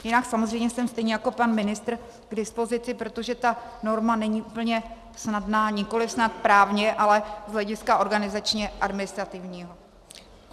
Jinak samozřejmě jsem stejně jako pan ministr k dispozici, protože ta norma není úplně snadná, nikoli snad právně, ale z hlediska organizačně administrativního.